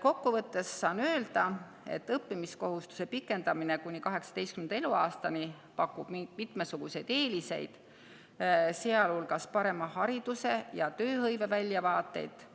Kokkuvõttes saan öelda, et õppimiskohustuse pikendamine kuni 18. eluaastani pakub mitmesuguseid eeliseid, sealhulgas parema hariduse ja tööhõive väljavaateid,